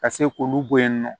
Ka se k'olu bɔ yen nɔ